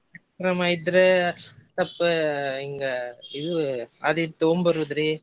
ಕಾರ್ಯಕ್ರಮ ಇದ್ರ ಸ್ವಲ್ಪ ಹಿಂಗ ಇವ್ ಇವು ಆದ್ ಇದ್ ತಗೊಂಡ್ ಬರೋದ್ರಿ.